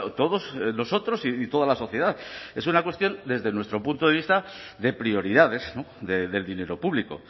todos nosotros y toda la sociedad es una cuestión desde nuestro punto de vista de prioridades del dinero público